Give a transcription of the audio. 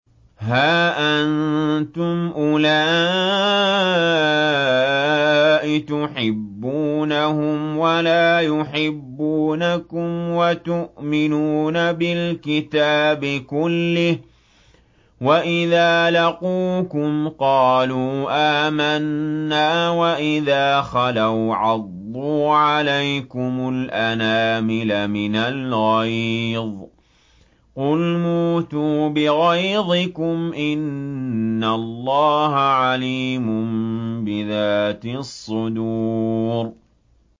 هَا أَنتُمْ أُولَاءِ تُحِبُّونَهُمْ وَلَا يُحِبُّونَكُمْ وَتُؤْمِنُونَ بِالْكِتَابِ كُلِّهِ وَإِذَا لَقُوكُمْ قَالُوا آمَنَّا وَإِذَا خَلَوْا عَضُّوا عَلَيْكُمُ الْأَنَامِلَ مِنَ الْغَيْظِ ۚ قُلْ مُوتُوا بِغَيْظِكُمْ ۗ إِنَّ اللَّهَ عَلِيمٌ بِذَاتِ الصُّدُورِ